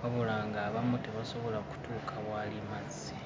wabula ng'abamu tebasobola kutuuka waali mazzi.